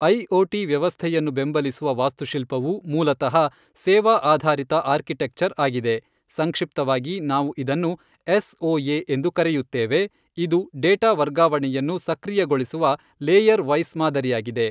IoT ವ್ಯವಸ್ಥೆಯನ್ನು ಬೆಂಬಲಿಸುವ ವಾಸ್ತುಶಿಲ್ಪವು ಮೂಲತಃ ಸೇವಾ ಆಧಾರಿತ ಆರ್ಕಿಟೆಕ್ಚರ್ ಆಗಿದೆ ಸಂಕ್ಷಿಪ್ತವಾಗಿ ನಾವು ಇದನ್ನು ಎಸ್ಓಎ ಎಂದು ಕರೆಯುತ್ತೇವೆ ಇದು ಡೇಟಾ ವರ್ಗಾವಣೆಯನ್ನು ಸಕ್ರಿಯಗೊಳಿಸುವ ಲೇಯರ್ ವೈಸ್ ಮಾದರಿಯಾಗಿದೆ.